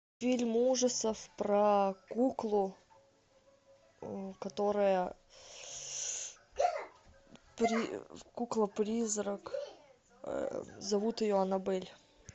фильм ужасов про куклу которая кукла призрак зовут ее аннабель